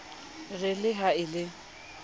re le ha e le